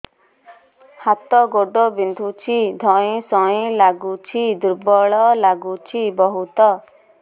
ହାତ ଗୋଡ ବିନ୍ଧୁଛି ଧଇଁସଇଁ ଲାଗୁଚି ଦୁର୍ବଳ ଲାଗୁଚି ବହୁତ